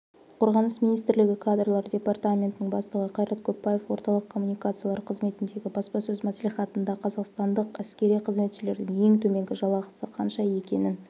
қорғаныс министрлігі кадрлар департаментінің бастығы қайрат көпбаев орталық коммуникациялар қызметіндегі баспасөз мәслихатында қазақстандық әскери қызметшілердің ең төменгі жалақысы қанша екенін